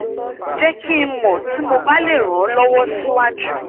jẹ ki n mọ ti mo ba le ran ọ lọwọ siwaju